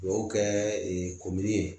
Dugawu kɛ ee komini ye